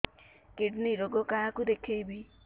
kidney ରୋଗ କାହାକୁ ଦେଖେଇବି